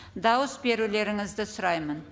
дауыс берулеріңізді сұраймын